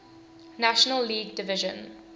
national league division